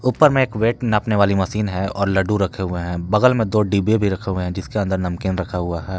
ऊपर में एक वेट नापने वाली मशीन है और लड्डू रखे हुए हैं बगल में तो डिब्बे भी रखे है जिसके अंदर नमकीन रखा हुआ है।